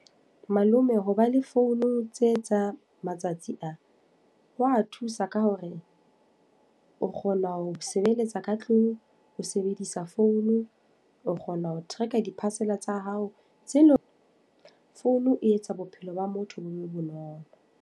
Malome ho ba le founu tse tsa matsatsi a. Ho a thusa ka hore, o kgona ho sebeletsa ka tlung, o sebedisa founu. O kgona ho track di-parcel tsa hao, tse leng. Founu e etsa bophelo ba motho bo be bonolo.